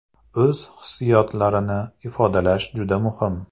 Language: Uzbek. O‘z hissiyotlarini ifodalash juda muhim.